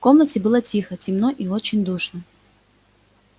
в комнате было тихо темно и очень душно